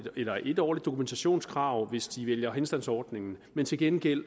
et årligt årligt dokumentationskrav hvis de vælger henstandsordningen men til gengæld